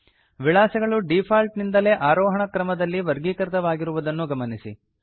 ವಿಳಾಸಗಳು default ನಿಂದಲೇ ಆರೋಹಣ ಕ್ರಮದಲ್ಲಿ ವರ್ಗೀಕೃತವಾಗಿರುವುದನ್ನು ಗಮನಿಸಿ